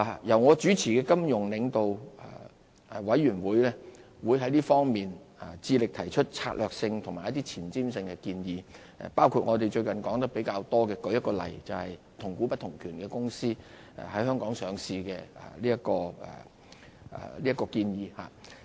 由我主持的金融領導委員會會致力提出策略性和前瞻性建議，包括我們最近說得比較多的一個例子，就是"同股不同權"公司在香港上市這項建議。